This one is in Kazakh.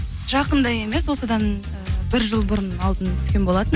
жақында емес осыдан бір жыл бұрын алдын түскен болатынмын